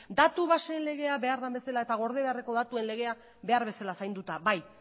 datu baseen legea behar den bezala eta gorde beharreko datuen legea behar bezala zainduta bai